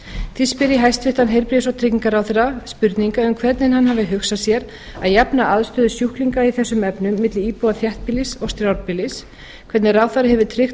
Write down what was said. því spyr ég hæstvirtum heilbrigðis og tryggingaráðherra spurningu um hvernig hann hafi hugsað sér að jafna aðstöðu sjúklinga í þessum efnum milli íbúa þéttbýlis og strjálbýlis hvernig ráðherra hefur tryggt